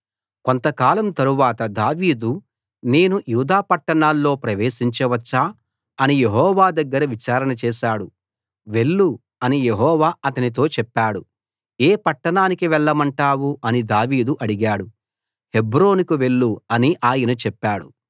కొంతకాలం తరువాత దావీదు నేను యూదా పట్టణాల్లో ప్రవేశించ వచ్చా అని యెహోవా దగ్గర విచారణ చేశాడు వెళ్ళు అని యెహోవా అతనితో చెప్పాడు ఏ పట్టణానికి వెళ్ళమంటావు అని దావీదు అడిగాడు హెబ్రోనుకు వెళ్ళు అని ఆయన చెప్పాడు